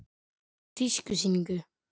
Frá tískusýningu.